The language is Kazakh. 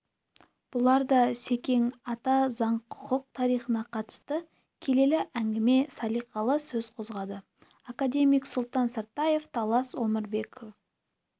бұларда да секең ата заң құқық тарихына қатысты келелі әңгіме салиқалы сөз қозғады академик сұлтан сартаев талас омарбеков